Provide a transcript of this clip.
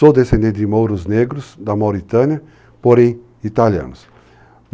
Sou descendente de mouros negros, da Mauritânia, porém italianos.